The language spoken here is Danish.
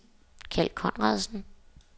Kjeld Conradsen